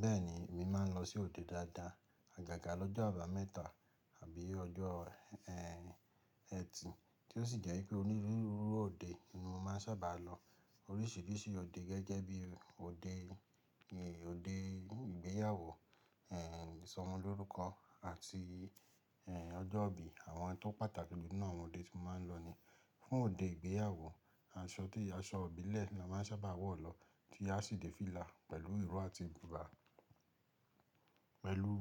Bẹ́ẹ̀ni, èmi máa ń lọ sí òde dáadáa. Àgàgà lọ́jọ́ àbámẹ́ta àbí ọjọ́ ẹtì tí ó sì jẹ́ wípé onírúurú òde ni mo máa ń sábà lọ. Oríṣìíríṣìí òde gẹ́gẹ́ bí òde, òde ìgbéyàwó, ìsọmọ lórúkọ àti ọjọ́ ìbí àwọn tó pàtàkì nínú àwọn òde tí mo máa ń lọ ni. Fún òde ìgbéyàwó, aṣọ tí ìyá aṣọ ìbílẹ̀ ni mo máa ń sábà wọ̀ lọ tí a sì dé fílà pẹ̀lú ìró àti bùbá. Pẹ̀lú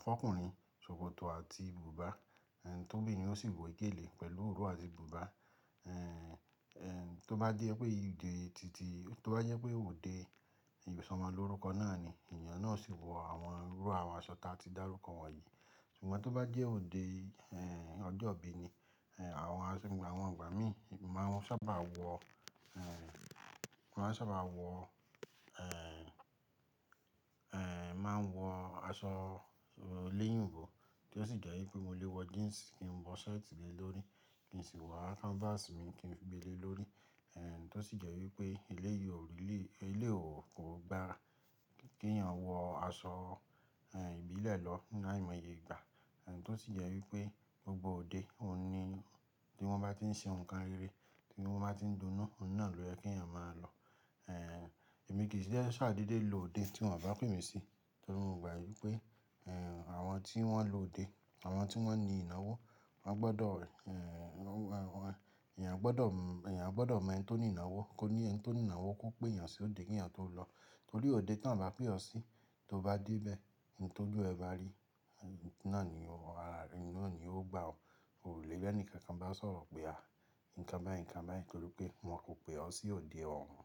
fún ọ́kùnrin, ṣòkòtò àti bùbá, t'óbìrin ó sì wé gèlè pẹ̀lú ìró àti bùbá. Tó bá jẹ́ pé ìdí òde titi, tó bá jẹ́ pé òde ìbì ọmọ lórúkọ náà ni, èèyàn náà sì wọ àwọn irú àwọn aṣọ tí a ti dárúkọ wọ̀nyí. Ṣùgbọ́n tó bá jẹ́ òde ọjọ́ ìbí ni, àwọn aṣọ, àwọn ìgbà míì mo máa ń sábà wọ, mo máa ń sábà wọ, máa ń wọ aṣọ léyìnbó tí ó sì jẹ́ wípé mo lè wọ jeans kí n wọ shirt le lórí, kí n sì wá canvas mi kí n gbe le lórí, tí ó sì jẹ́ wípé eleyii o really, eléyìí ò kò gba kí èèyàn wọ aṣọ ìbílẹ̀ lọ nínú àìmọye ìgbà, tí ó sì jẹ́ wípé gbogbo òde, ohun ni tí wọ́n bá ti ń ṣe nǹkan rere tí wọ́n bá ti ń dunú, òun náà ló yẹ kí ẹ̀yàn máa lọ. Èmi kìí fi bẹ́ẹ̀ ṣàdédé lòde tí wọ́n bá pè mí sí torí mo gbà wípé àwọn tí wọ́n lòde, àwọn tí wọ́n ní ìnáwó, wọ́n gbọdọ̀, èèyàn gbọdọ̀, èèyàn gbọdọ̀ mọ ẹni tó ní ìnáwó, kó ní ẹni tó ní ìnáwó kó pe èèyàn sí òde kí èèyàn tó lọ. Torí òde tí wọ́n bá pè ọ́ sí, tó bá dé bẹ́ẹ̀, ohun t'ójú ẹ bá rí, náà ni ó, náà ni ó gbà o. Oò le rí ẹnìkankan bá sọ̀rọ̀ pé à nǹkan báyìí nǹkan báyìí nítorí pé wọ́n kò pè ọ́ sí òde ọ̀hún.